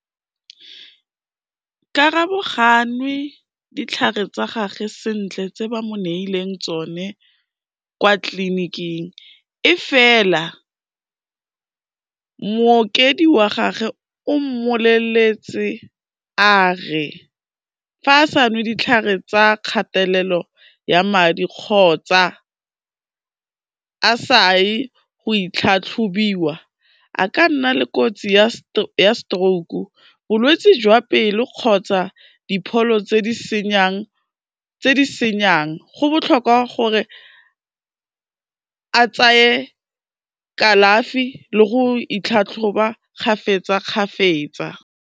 Karabo ga a nwe ditlhare tsa gagwe sentle tse ba mo neileng tsone kwa tliliniking e fela, mookedi wa gagwe o mmoleletse a re, fa a sa nwe ditlhare tsa kgatelelo ya madi kgotsa a saye go itlhatlhobiwa, a ka nna le kotsi ya stroke-o, bolwetsi jwa pelo kgotsa dipholo tse di senyang, go botlhokwa gore a tseye kalafi le go itlhatlhoba kgapetsa-kgapetsa.